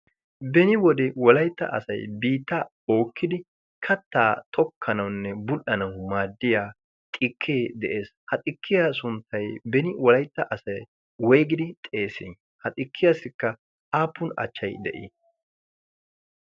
Beni wode Wolaytta asay biittaa bookidi kattaa tokkanawunne bull''anawu maaddiya xikee de'ees. Ha xikkiya sunttay beni wolaytta asay woyggidi xeessi? Ha xikkiyassikka aappun achchay de'i?